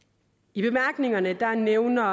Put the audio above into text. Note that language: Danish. i bemærkningerne nævner